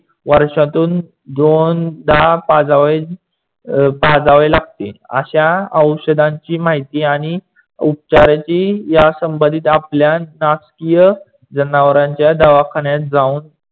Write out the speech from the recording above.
वर्षातून दोनदा पाजावे अं लागते. अश्या औशदांची माहिती आणि उपचाराची यासंबंधीत आपल्या नाशकीय जनावरांच्या दवाखान्यात जाऊन